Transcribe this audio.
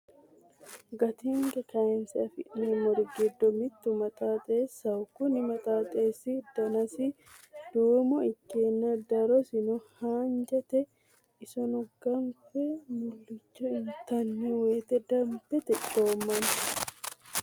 Gattini kaayinise afinemorri giddo mittu maxaxeshaho Kuni maxaxxeshi danasi duummo ikkana darrosino haanijate issonno ganiffe mullicho inttani woyite damibete coommanno